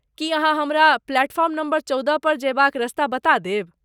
की अहाँ हमरा platform number चौदह पर जयबाक रस्ता बता देब ?